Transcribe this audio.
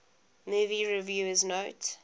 movie reviewers note